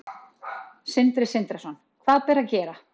Sindri Sindrason: Hvað ber að gera?